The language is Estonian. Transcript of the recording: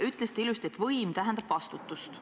Ütlesite ilusti, et võim tähendab vastutust.